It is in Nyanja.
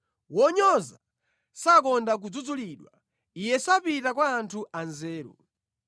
Wonyoza sakonda kudzudzulidwa; iye sapita kwa anthu anzeru.